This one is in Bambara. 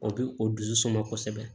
O bi o dusu suma kosɛbɛ